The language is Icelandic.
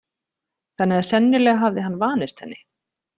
Þannig að sennilega hafði hann vanist henni.